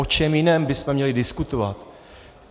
O čem jiném bychom měli diskutovat?